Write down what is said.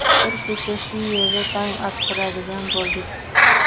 Bir kecha shu yerda tong ottiradigan bo‘ldik.